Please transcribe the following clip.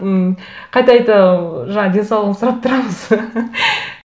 ммм қайта қайта ы жаңа денсаулығын сұрап тұрамыз